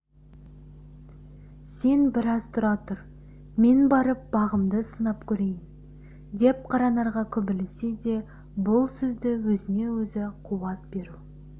сен біраз тұра тұр мен барып бағымды сынап көрейін деп қаранарға күбірлесе де бұл сөзді өзіне-өзі қуат беру